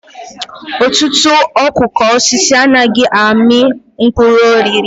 Ọtụtụ okooko osisi anaghị amị mkpụrụ oriri.